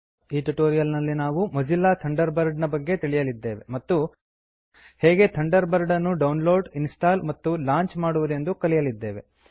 ಈ ಟ್ಯುಟೋರಿಯಲ್ ನಲ್ಲಿ ನಾವು ಮೊಜಿಲ್ಲಾ ಥಂಡರ್ಬರ್ಡ್ ನ ಬಗ್ಗೆ ಕಲಿಯಲಿದ್ದೇವೆ ಮತ್ತು ಹೇಗೆ ಥಂಡರ್ ಬರ್ಡ್ ಅನ್ನು ಡೌನ್ ಲೋಡ್ ಇನ್ಸ್ಟಾಲ್ ಮತ್ತು ಲಾಂಚ್ ಮಾಡುವುದೆಂದು ಕಲಿಯಲಿದ್ದೇವೆ